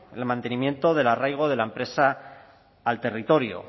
el mantenimiento del arraigo de la empresa al territorio